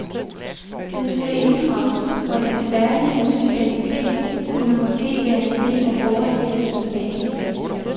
Den skulle inddrages, og dens særlige musikalitet kunne måske være en del af forestillingens basis.